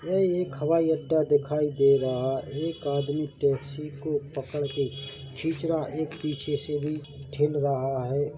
यहा एक हवाईअड्डा दिखाई दे रहा है एक आदमी टैक्सी को पकड़ के खीच रहा एक पिछे से भी ढील रहा है।